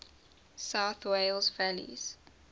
south wales valleys